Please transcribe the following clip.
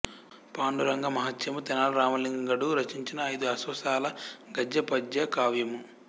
పాండురంగ మహాత్మ్యము తెనాలి రామలింగడు రచించిన ఐదు అశ్వాసాల గద్య పద్య కావ్యము